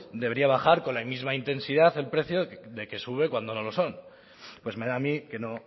debería bajar con la misma intensidad el precio de que sube cuando no lo son pues me da a mí que no